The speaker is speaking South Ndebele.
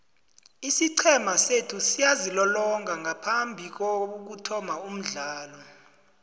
isiqhema sethu siyazilolonga ngaphambikokuthoma umdlalo